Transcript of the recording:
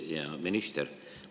Hea minister!